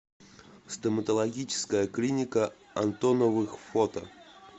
стоматологическая клиника антоновых фото